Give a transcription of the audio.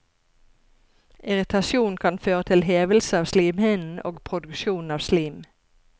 Irritasjon kan føre til hevelse av slimhinnen, og produksjon av slim.